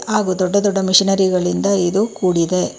ಹಾಗು ದೊಡ್ಡ ದೊಡ್ಡ ಮಿಷಿನರಿಗಳಿಂದ ಇದು ಕೂಡಿದೆ.